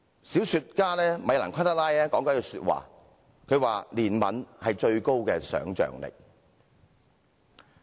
小說家米蘭.昆德拉說過："憐憫是最高的想象力。